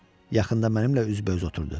Yaxında mənimlə üzbəüz oturdu.